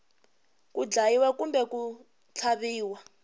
ku dlayiwa kumbe ku tlhaviwa